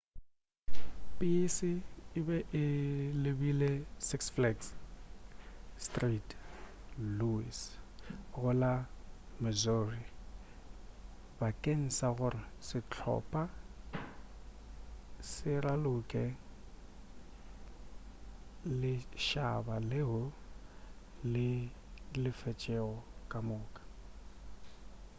pese e be e lebile six flags st louis go la missouri bakeng sa gore sehlopa se ralokele lešhaba leo le lefetšego ka moka